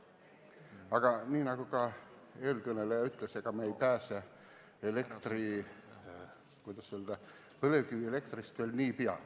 Aga nagu ka eelkõneleja ütles, me ei pääse põlevkivielektrist veel nii peagi.